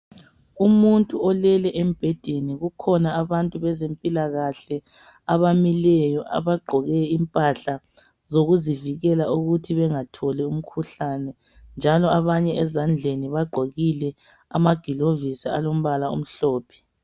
Umuntu olele embhedeni. Kukhona abantu bezempilakahle abamileyo. Abagqoke impahla zokuzivikela ukuthi bangatholi umkhuhlane, njalo abanye ezandleni bagqokile amagliovisi, alombala omhlophe.